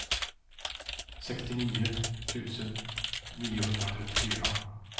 sextionio tusen niohundratrettiofyra